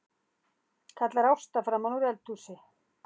kallar Ásta framanúr eldhúsi.